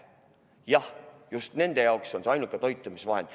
Jah, just, nende jaoks on see ainuke toitumisvahend.